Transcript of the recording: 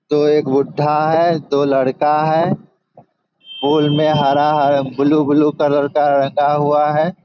दो एक बुढा है। दो लड़का है। पूल में हरा-हरा ब्लू ब्लू कलर का लगा हुआ है।